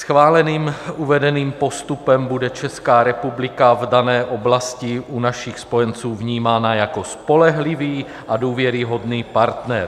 Schváleným uvedeným postupem bude Česká republika v dané oblasti u našich spojenců vnímána jako spolehlivý a důvěryhodný partner.